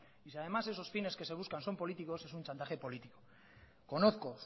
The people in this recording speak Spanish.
y si además esos fines que se buscan son políticos es un chantaje político conozco